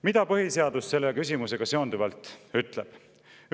Mida põhiseadus selle küsimusega seonduvalt ütleb?